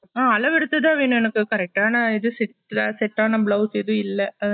அஹ அளவேத்துதா வேண்ணும் என்னக்கு correct டான இது set ல set டான blouse எதும் இல்ல